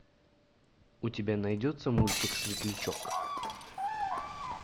у тебя найдется мультик светлячок